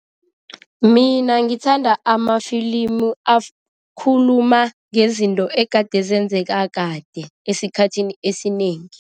Mina ngithanda amafilimu akhuluma ngezinto egade zenzeka kade, esikhathini esinengi.